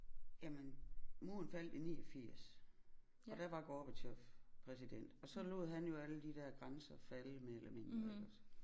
Jamen muren faldt i 89 og der var Gorbatjov præsident og så lod han jo alle de der grænser falde mere eller mindre iggås